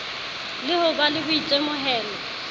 le ho ba le boitemohelo